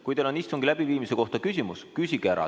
Kui teil on istungi läbiviimise kohta küsimus, siis küsige ära.